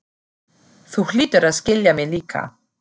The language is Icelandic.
Þú hlýtur að skilja mig líka.